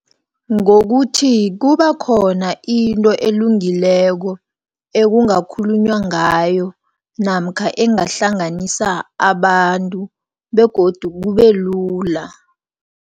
Ngokuthi kubekhona into elungileko, ekungakhulunywa ngayo, namkha engahlanganisa abantu, begodu kubelula.